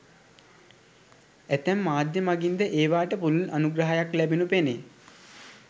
ඇතැම් මාධ්‍ය මඟින්ද ඒවාට පුළුල් අනුග්‍රහයක් ලැබෙනු පෙනේ.